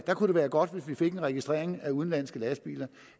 det kunne være godt hvis vi fik en registrering af udenlandske lastbiler